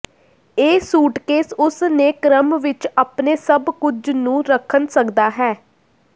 ਇਹ ਸੂਟਕੇਸ ਉਸ ਨੇ ਕ੍ਰਮ ਵਿੱਚ ਆਪਣੇ ਸਭ ਕੁਝ ਨੂੰ ਰੱਖਣ ਸਕਦਾ ਹੈ